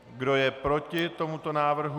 Kdo je proti tomuto návrhu?